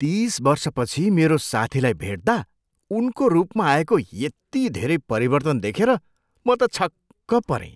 तिस वर्षपछि मेरो साथीलाई भेट्दा उनको रूपमा आएको यति धेरै परिवर्तन देखेर म त छक्क परेँ।